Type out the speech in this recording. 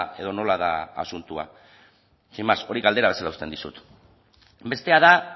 edo nola da asuntoa sin más hori galdera bezala uzten dizut bestea da